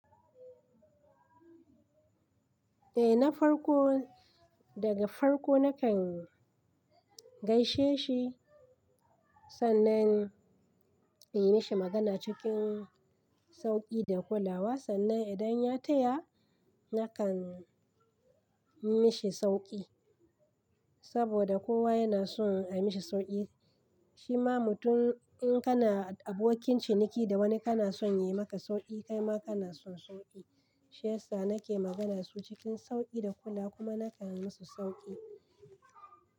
Eh na farko daga farko na kan gaishe shi sannan in yi mashi magana cikin sauƙi da kulawa sannan idan ya taya na kan mishi sauƙi saboda kowa yana son a mishi sauƙi shima mutum in kana abokin ciniki da wani kana son ya yi maka sauƙi kaima kana son sauƙi shiyasa na ke magana su cikin sauƙi da kula kuma na kan yi musu sauƙi.